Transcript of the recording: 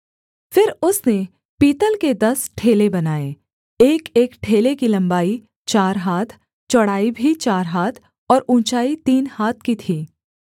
फिर उसने पीतल के दस ठेले बनाए एकएक ठेले की लम्बाई चार हाथ चौड़ाई भी चार हाथ और ऊँचाई तीन हाथ की थी